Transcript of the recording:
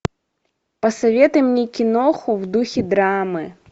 посоветуй мне киноху в духе драмы